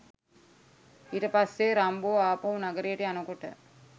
ඊට පස්සේ රම්බෝ ආපහු නඟරයට යනකොට